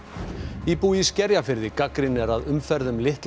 íbúi í Skerjafirði gagnrýnir að umferð um litla